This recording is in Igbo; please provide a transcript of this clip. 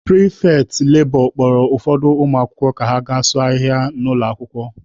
Pịrịfetị lebọ kpọrọ ụfọdụ ụmụakwụkwọ ka ha gaa sụọ ahịhịa dị n'ụlọ akwụkwọ.